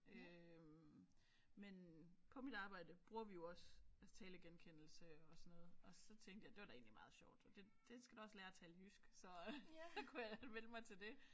Øh men på mit arbejde bruger vi jo også altså talegenkendelse og sådan noget og så tænkte jeg det var da egentlig meget sjovt og det den skal da også lære at tale jysk så så kunne jeg melde mig til det